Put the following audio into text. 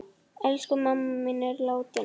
Elsku mamma mín er látin.